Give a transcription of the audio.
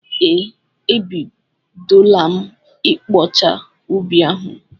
Ee, e bidola m ịkpọcha ubi ahụ.